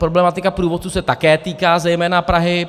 Problematika průvodců se také týká zejména Prahy.